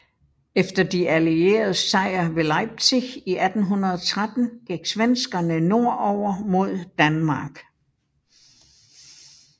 Efter de allieredes sejr ved Leipzig i 1813 gik svenskerne nordover mod Danmark